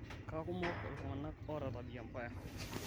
kakumok iltunganak ota tabia mbaya